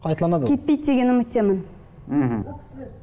қайталанады ол кетпейді деген үміттемін мхм